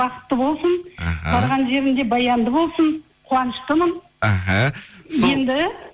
бақытты болсын іхі барған жерінде баянды болсын қуаныштымын іхі енді